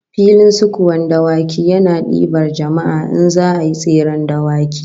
Filin sukuwan dawaki yana dibar jama'a in za'a yi tseren dawaki